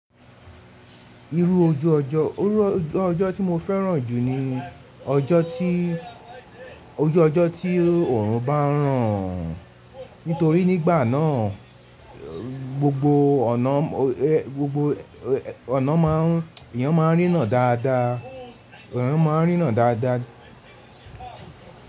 Irú ojú ọjọ́ tí mo fẹ́ràn jù ni ojú ọjọ́ tí òòrùn bá ń ràn, nítorí nígbà náà gbogbo ọ̀nà má a ń, èèyàn má a ń rína dáadáa, èèyàn má a ń rína dáadáa.